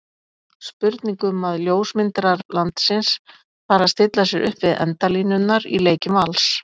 Spurning um að ljósmyndarar landsins fari að stilla sér upp við endalínurnar í leikjum Vals?